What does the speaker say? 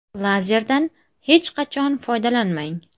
Lazerdan hech qachon foydalanmang!